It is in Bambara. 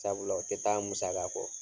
Sabula o te taa musaka kɔ